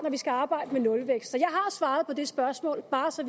vi skal arbejde med nulvækst så jeg har svaret på det spørgsmål bare så